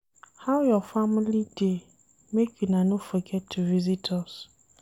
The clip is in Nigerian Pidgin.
How your family dey? make una no forget to visit us.